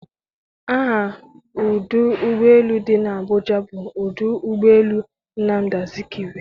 aha ọdụ ụgbọ elu dị n'Abuja bụ ọdụ ụgbọ elu Nnamdi Azikwe.